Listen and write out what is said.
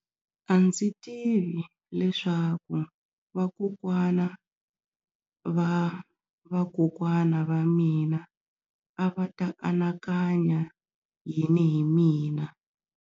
A ndzi tivi leswaku vakokwanavavakokwana va mina a va ta anakanya yini hi mina.